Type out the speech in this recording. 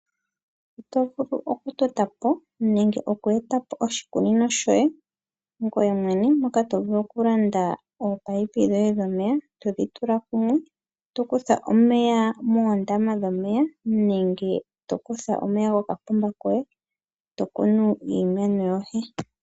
Oto vulu oku etapo oshikunino shoye ngwee mwene mokulanda ominino dhomeya, todhi tula kumwe, tokutha omeya meendama nenge tolongitha omeya gokokapomba, opo wuvule okukuna iimeno yoye.